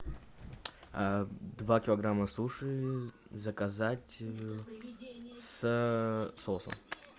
два килограмма суши заказать с соусом